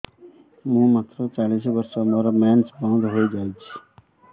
ମୁଁ ମାତ୍ର ଚାଳିଶ ବର୍ଷ ମୋର ମେନ୍ସ ବନ୍ଦ ହେଇଯାଇଛି